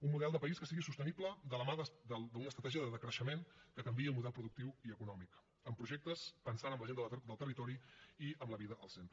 un model de país que sigui sostenible de la mà d’una estratègia de decreixement que canviï el model productiu i econòmic amb projectes que pensin en la gent del territori i amb la vida al centre